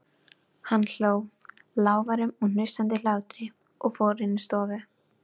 Hann hló, lágværum, hnussandi hlátri og fór inn í stofu.